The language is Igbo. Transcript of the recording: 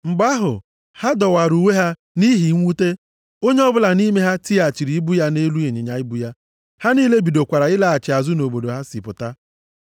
Mgbe ahụ, ha dọwara uwe ha nʼihi mwute. Onye ọbụla nʼime ha tighachiri ibu ya nʼelu ịnyịnya ibu ya. Ha niile bidokwara ịlaghachi azụ nʼobodo ha si pụta.